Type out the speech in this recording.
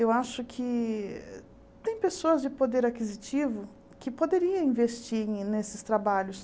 Eu acho que tem pessoas de poder aquisitivo que poderiam investir ne nesses trabalhos.